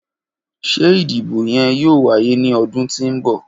Ṣe idibo yoo waye ni ọdun ti n bọ?